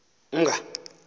mnga